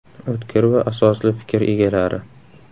O‘tkir va asosli fikr egalari.